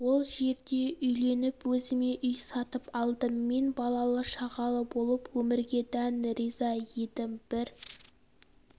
сол жерде үйленіп өзіме үй сатып алдым мен балалы шағалы болып өмірге дән риза едім бір